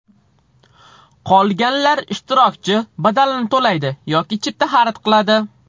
Qolganlar ishtirokchi badalini to‘laydi yoki chipta xarid qiladi.